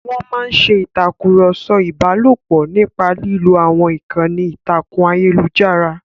Wọ́n máa ń ṣe ìtàkùrọ̀sọ ìbálòpọ̀ nípa lílo àwọn ìkànnì ìtàkùn ayélujára.